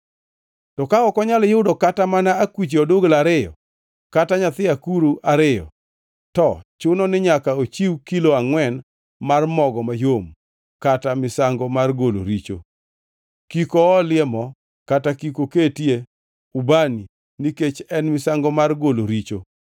“ ‘To ka ok onyal yudo kata mana akuche odugla ariyo kata nyithi akuru ariyo, to chunoni nyaka ochiw kilo angʼwen mar mogo mayom kaka misango mar golo richo. Kik oolie mo kata kik oketie ubani, nikech en misango mar golo richo.